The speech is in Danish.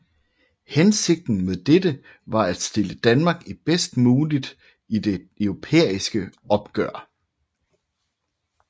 Hensigten med dette var at stille Danmark bedst muligt i det europæiske opgør